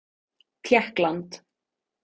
Tékkland